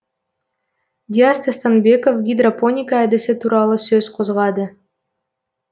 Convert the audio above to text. диас тастанбеков гидропоника әдісі туралы сөз қозғады